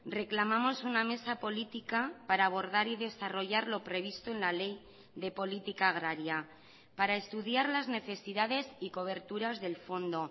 reclamamos una mesa política para abordar y desarrollar lo previsto en la ley de política agraria para estudiar las necesidades y coberturas del fondo